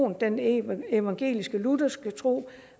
den evangelisk lutherske tro